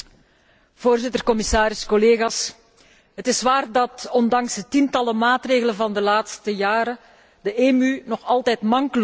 Voorzitter, commissaris, collega's, het is waar dat, ondanks de tientallen maatregelen van de laatste jaren, de EMU nog altijd mank loopt.